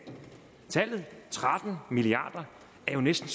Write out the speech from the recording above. tallet tretten milliard er jo næsten